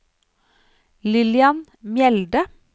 Lillian Mjelde